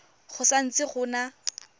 go sa ntse go na